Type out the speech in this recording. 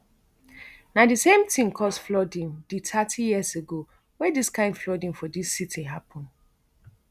na di same tin cause flooding di thirty years ago wey dis kain flooding for di city happun